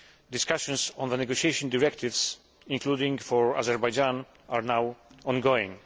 discussions on the negotiation directives, including for Azerbaijan, are now ongoing.